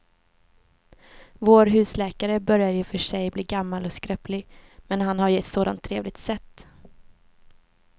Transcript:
Vår husläkare börjar i och för sig bli gammal och skröplig, men han har ju ett sådant trevligt sätt!